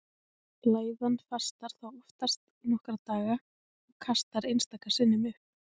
Læðan fastar þá oftast í nokkra daga og kastar einstaka sinnum upp.